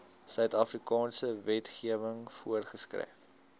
suidafrikaanse wetgewing voorgeskryf